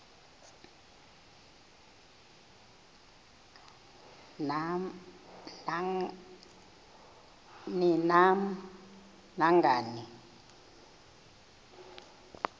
ni nam nangani